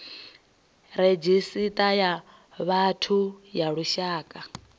redzhisita ya vhathu ya lushaka